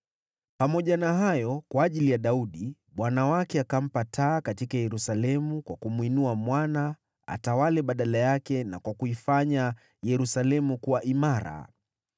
Pamoja na hayo, kwa ajili ya Daudi, Bwana Mungu wake akampa taa katika Yerusalemu kwa kumwinua mwana atawale badala yake na kwa kuifanya Yerusalemu kuwa imara.